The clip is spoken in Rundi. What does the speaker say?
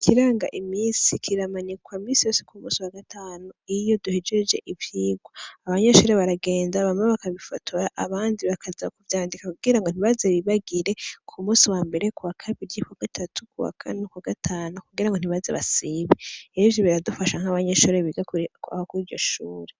Ikiranga imisi kiramanikwa misi yose ku musi wa gatanu iyo duhejeje ivyigwa, abanyeshure baragenda bamwe bakabifotora abandi bakaja ku vyandika kugira ngo ntibaze bibagire ku musi wa mbere ,kuwa kabiri, kuwa gatatu, kuwa Kane, kuwa gatanu kugura nho ntibaze basibe rero ivyo biradufasha nk'abanyeshure biga aho kuri ityo shure.